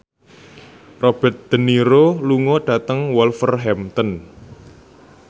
Robert de Niro lunga dhateng Wolverhampton